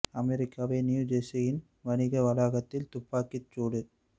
அமெரிக்காவின் நியூஜெர்சியில் வணிக வளாகத்தில் துப்பாக்கி சூடு